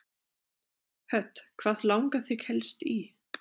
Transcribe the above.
Hödd: Hvað langar þig helst í?